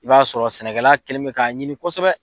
I b'a sɔrɔ sɛnɛkɛla kɛlen bɛ k'a ɲini kosɛbɛ.